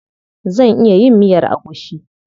Zan iya yin miyar agushi.